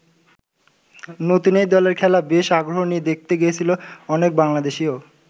নতুন এই দলের খেলা বেশ আগ্রহ নিয়ে দেখতে গিয়েছিলেন অনেক বাংলাদেশিও।